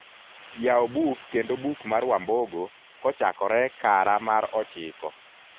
yaw buk kendo buk mar wambogo kochakore kara mar ochiko